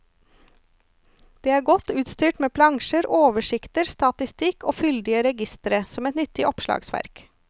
Den er godt utstyrt med plansjer, oversikter, statistikk og fyldige registre, som et nyttig oppslagsverk.